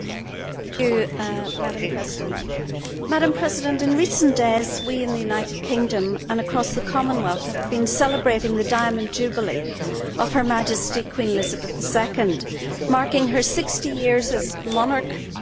Madam President, in recent days we in the United Kingdom and across the Commonwealth have been celebrating the Diamond Jubilee of Her Majesty Queen Elizabeth II, marking her 60 years as monarch and her steadfast selfless service.